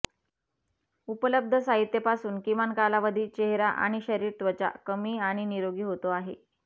उपलब्ध साहित्य पासून किमान कालावधी चेहरा आणि शरीर त्वचा कमी आणि निरोगी होतो आहे